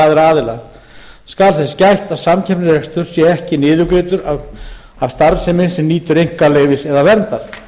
aðra aðila skal þess gætt að samkeppnisrekstur sé ekki niðurgreiddur af starfsemi sem nýtur einkaleyfis eða verndar